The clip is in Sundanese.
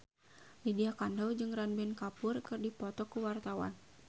Lydia Kandou jeung Ranbir Kapoor keur dipoto ku wartawan